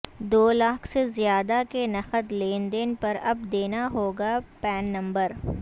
دو لاکھ سے زیادہ کے نقد لین دین پر اب دینا ہوگا پین نمبر